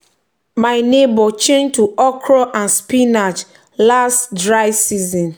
my my neighbour change to okra and spinach last um dry season.